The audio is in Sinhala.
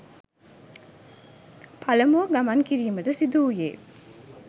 පළමුව ගමන් කිරීමට සිදුවුයේ